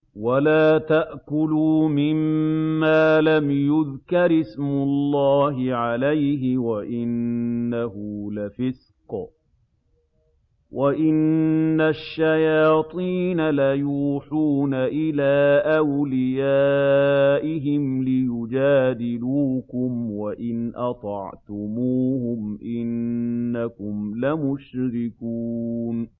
وَلَا تَأْكُلُوا مِمَّا لَمْ يُذْكَرِ اسْمُ اللَّهِ عَلَيْهِ وَإِنَّهُ لَفِسْقٌ ۗ وَإِنَّ الشَّيَاطِينَ لَيُوحُونَ إِلَىٰ أَوْلِيَائِهِمْ لِيُجَادِلُوكُمْ ۖ وَإِنْ أَطَعْتُمُوهُمْ إِنَّكُمْ لَمُشْرِكُونَ